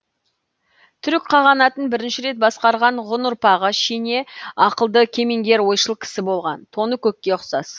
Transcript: түрік қағанатын бірінші рет басқарған ғұн ұрпағы шене ақылды кемеңгер ойшыл кісі болған тоныкөкке ұқсас